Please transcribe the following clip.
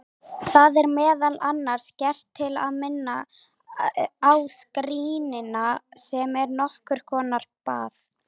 Það er meðal annars gert til að minna á skírnina sem er nokkur konar bað.